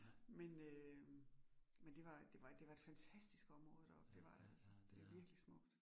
Men øh men det var det var det var et fantastisk område deroppe, det var det altså, det virkelig smukt